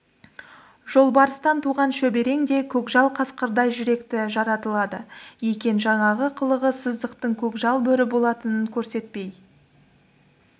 жолбарыстан туған шөберең де көкжал қасқырдай жүректі жаратылады екен жаңағы қылығы сыздықтың көкжал бөрі болатынын көрсетпей